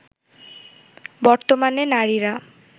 বর্তমানে নারীরা